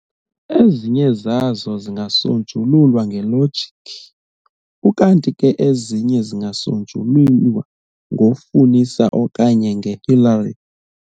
Ezinye zazo zingasonjululwa ngelogic, ukanti ke ezinye zingasonjululwa ngofunisela okanye nge-"hilary".